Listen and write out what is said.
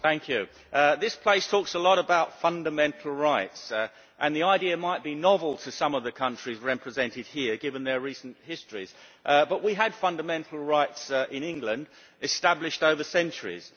Mr President, this place talks a lot about fundamental rights. The idea might be novel to some of the countries represented here, given their recent histories, but we have fundamental rights in England established over centuries.